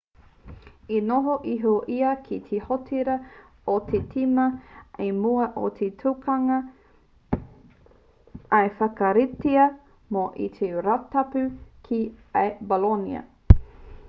i noho iho ia ki te hōtera o te tīma i mua i te tukinga i whakaritea mō te rātapu ki a bolonia